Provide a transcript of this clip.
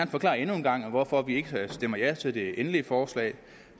forklare endnu en gang hvorfor vi ikke stemmer ja til det endelige forslag